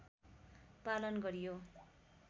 पालन गरियो